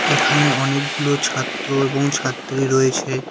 এখানে অনেকগুলো ছাত্র এবং ছাত্রী রয়েছে।